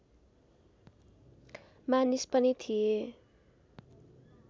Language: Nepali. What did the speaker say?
मानिस पनि थिए